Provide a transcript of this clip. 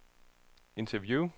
interview